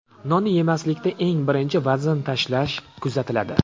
Nonni yemaslikda eng birinchi vazn tashlash kuzatiladi.